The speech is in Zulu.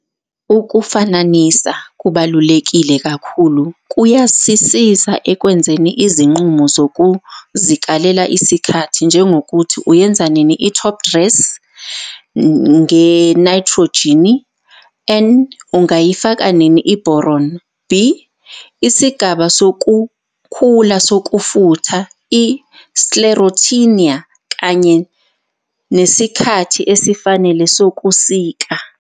Ukufananisa kubaluleke kakhulu kuyasisizaekwenzeni izinqumo zokuzikalela isikhathi, njengokuthi uyenza nini i-top dressngenayithrojini, N, ungayi faka nini i-boron, B,isigaba sokukhula sokufutha i-sclerotinia kanye nesikhathi esifanele sokusika.